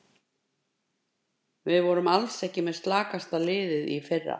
Við vorum alls ekki með slakasta liðið í fyrra.